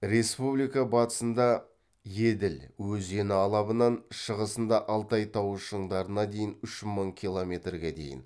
республика батысында еділ өзені алабынан шығысында алтай тауы шыңдарына дейін үш мың километрге дейін